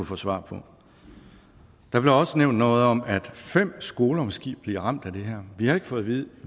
få svar på der blev også nævnt noget om at fem skoler måske bliver ramt af det her vi har ikke fået vide